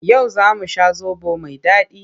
Yau za mu sha zaɓo mai daɗi.